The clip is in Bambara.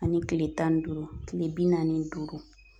Ani tile tan ni duuru ktle bi naani duuru